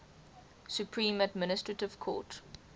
supreme administrative court